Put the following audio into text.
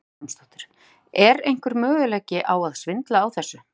Hödd Vilhjálmsdóttir: Er einhver möguleiki á að svindla á þessu?